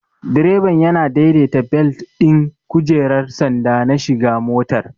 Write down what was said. Direban yana daidaita belet ɗin kujerar sanda na shiga motar.